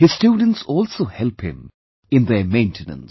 His students also help him in their maintenance